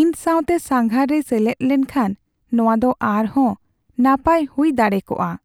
ᱤᱧ ᱥᱟᱶᱛᱮ ᱥᱟᱸᱜᱷᱟᱨ ᱨᱮᱭ ᱥᱮᱞᱮᱫ ᱞᱮᱱᱠᱷᱟᱱ ᱾ ᱱᱚᱶᱟ ᱫᱚ ᱟᱨᱦᱚᱸ ᱱᱟᱯᱟᱭ ᱦᱩᱭ ᱫᱟᱲᱮ ᱠᱚᱜᱼᱟ ᱾